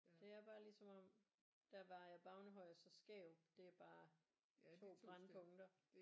Det er bare ligesom om der ved Ejer Bavnehøj og så Skærup det er bare 2 brændpunkter